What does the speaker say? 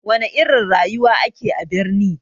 Wana irin rayuwa ake a birni?